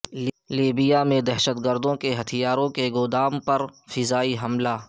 Libya میں دہشت گردوں کے ہتھیاروں کے گودام پر فضائی حملہ